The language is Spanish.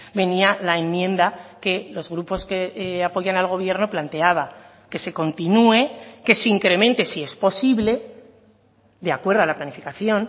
venía la enmienda que los grupos que apoyan al gobierno planteaba que se continúe que se incremente si es posible de acuerdo a la planificación